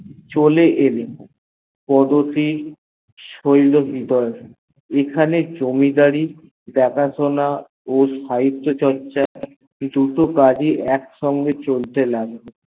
চলে এলেন কদবি এখানে জমিদারি দেখাশোনা ও সাহিতত চর্চা দুটো কাজ ই একসিঙ্গে চলতে লাগলো